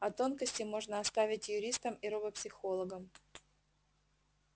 а тонкости можно оставить юристам и робопсихологам